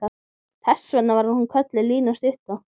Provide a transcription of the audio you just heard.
Þess vegna var hún kölluð Lína stutta.